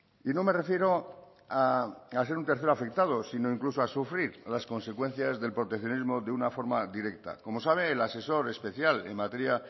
y no me refiero a ser un tercer afectado sino incluso a sufrir a las consecuencias del proteccionismo de una forma directa como sabe el asesor especial en materia